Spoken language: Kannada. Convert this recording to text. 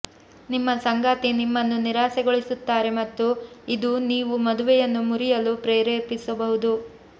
ನಿಮ್ಮ ಸಂಗಾತಿ ನಿಮ್ಮನ್ನು ನಿರಾಸೆಗೊಳಿಸುತ್ತಾರೆ ಮತ್ತು ಇದು ನೀವುಮದುವೆಯನ್ನು ಮುರಿಯಲು ಪ್ರೇರೇಪಿಸಬಹುದು